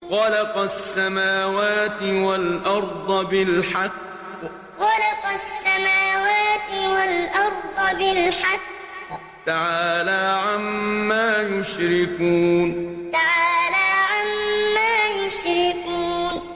خَلَقَ السَّمَاوَاتِ وَالْأَرْضَ بِالْحَقِّ ۚ تَعَالَىٰ عَمَّا يُشْرِكُونَ خَلَقَ السَّمَاوَاتِ وَالْأَرْضَ بِالْحَقِّ ۚ تَعَالَىٰ عَمَّا يُشْرِكُونَ